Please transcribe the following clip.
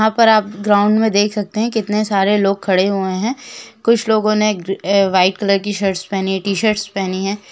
यहा पर आप ग्राउड में देख सकते है की कितने सारे लोक खड़े हुए है कुछ लोगो ने वाइट कलर शर्ट पहनी है।